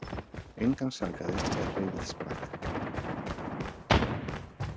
Engan sakaði er hreyfill sprakk